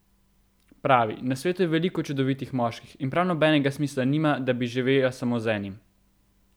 Pravi: "Na svetu je veliko čudovitih moških in prav nobenega smisla nima, da bi živela samo z enim.